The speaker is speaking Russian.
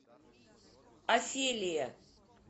офелия